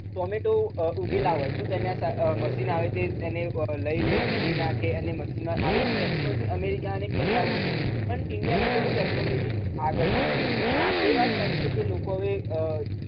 tomato અમ ઉગેલા હોય તો તેના સા machine આવે છે તેને અમ લઇ લે, ધોઈ નાખે અને machine માં આવી technology America અને Canada માં છે પણ ઇન્ડિયામાં એટલી બધી technology આગળ નથી હા એ વાત સાચી છે કે લોકો હવે અમ